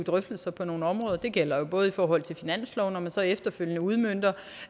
drøftelser på nogle områder det gælder både i forhold til finansloven hvor man så efterfølgende udmønter